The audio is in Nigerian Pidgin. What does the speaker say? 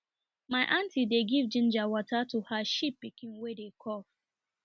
my aunty dey give ginger water to her sheep pikin wey dey cough